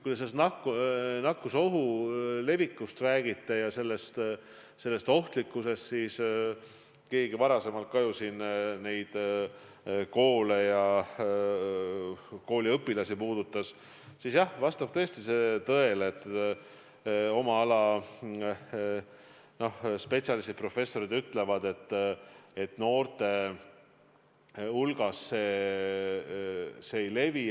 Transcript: Kui te nakkusohu levikust räägite – keegi teine puudutas seda kooliõpilastest rääkides ka –, siis jah, vastab tõesti tõele, et oma ala spetsialistid, professorid ütlevad, et noorte hulgas see ei levi.